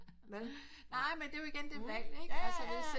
Nej men det er jo igen det valg ikke